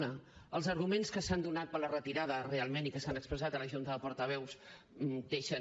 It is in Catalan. una els arguments que s’han donat per la retirada realment i que s’han expressat a la junta de portaveus deixen